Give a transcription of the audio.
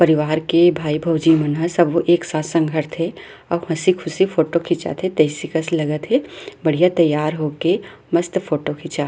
परिवार के भाई भौजी मन ह सबो एक साथ संघरथे अउ हसी ख़ुशी फोटो खिचात हे तइसे कस लगत हे बढ़िया तैयार हो के मस्त फोटो खींचा --